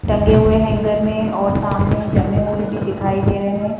टंगे हुए हैंगर में और सामने जमें हुए भी दिखाई दे रहे हैं।